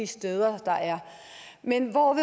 steder der er men hvor